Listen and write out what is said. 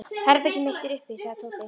Herbergið mitt er uppi sagði Tóti.